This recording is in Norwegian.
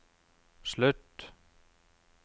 slutt